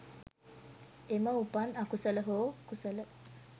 එම උපන් අකුසල හෝ කුසල